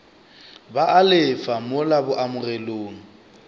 ba a lefa mola boamogelong